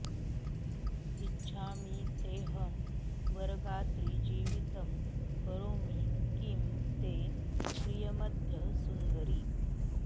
इच्छामि तेऽहं वरगात्रि जीवितं करोमि किं ते प्रियमद्य सुन्दरि